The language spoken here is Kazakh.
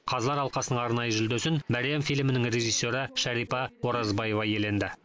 қазылар алқасының арнайы жүлдесін мәриям фильмінің режиссері шәрипа оразбаева иеленді